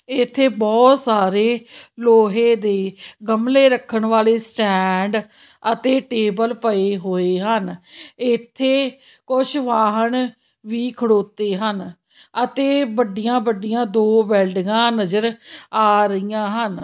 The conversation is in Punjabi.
ਇੱਥੇ ਬਹੁਤ ਸਾਰੇ ਲੋਹੇ ਦੇ ਗਮਲੇ ਰੱਖਣ ਵਾਲੇ ਸਟੈਂਡ ਅਤੇ ਟੇਬਲ ਪਏ ਹੋਏ ਹਨ ਇੱਥੇ ਕੁਝ ਵਾਹਣ ਵੀ ਖੜੋਤੇ ਹਨ ਅਤੇ ਵੱਡੀਆਂ-ਵੱਡੀਆਂ ਦੋ ਬਿਲਡਿੰਗਾਂ ਨਜ਼ਰ ਆ ਰਹੀਆਂ ਹਨ।